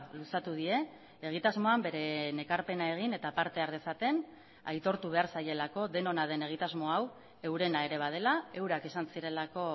luzatu die egitasmoan bere ekarpena egin eta parte har dezaten aitortu behar zaielako denona den egitasmo hau eurena ere badela eurak izan zirelako